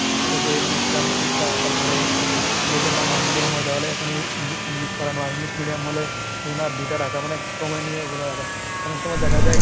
ওকে ইসলামী শিক্ষা তারপরে এই যদি ওটা বাংলা medium হয় তাহলে ওখানে en~ english পড়ানো হয়, english medium হলে ওখানে আর দুইটা রাখা মানে সময় নিয়ে ওগুলো রাখা। অনেক সময় দেখা যায়,